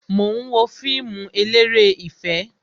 Mo ń wo fíìmù eléré ìfẹ́